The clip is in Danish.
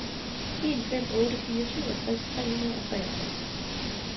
en fem otte fire syvogtres tre hundrede og treogtres